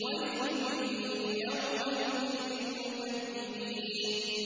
وَيْلٌ يَوْمَئِذٍ لِّلْمُكَذِّبِينَ